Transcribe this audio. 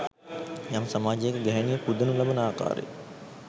යම් සමාජයක ගැහැණිය පුදනු ලබන ආකාරය